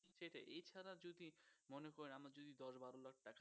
সেটাই এছাড়া যদি মনে করেন আমরা যদি দশ বারো লাখ টাকা